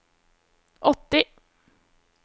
åtti